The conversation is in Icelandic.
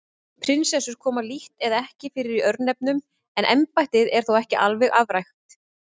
Prinsessur koma lítt eða ekki fyrir í örnefnum en embættið er þó ekki alveg afrækt.